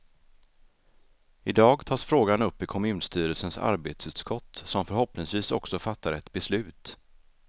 I dag tas frågan upp i kommunstyrelsens arbetsutskott som förhoppningsvis också fattar ett beslut.